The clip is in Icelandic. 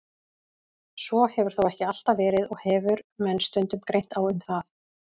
Svo hefur þó ekki alltaf verið og hefur menn stundum greint á um það.